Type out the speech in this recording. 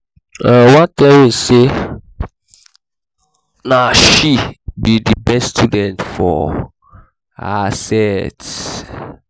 my mama tell me say na she be the best student for her set